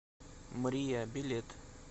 мрия билет